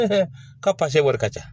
Ka pase wari ka ca